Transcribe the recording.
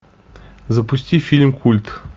запусти фильм культ